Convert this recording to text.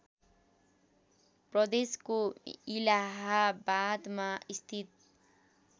प्रदेशको इलाहाबादमा स्थित